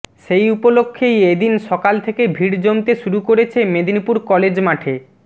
সেই উপলক্ষেই এদিন সকাল থেকে ভিড় জমতে শুরু করেছে মেদিনীপুর কলেজ মাঠে